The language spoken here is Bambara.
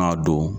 A don